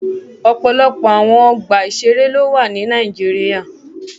Ọpọlọpọ awọn ọgba iṣere lo wa ni Nàìjíríà